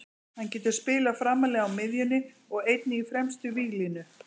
Hann getur spilað framarlega á miðjunni og einnig í fremstu víglínu.